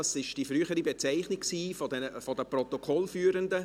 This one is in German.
Dies war die frühere Bezeichnung der Protokollführenden.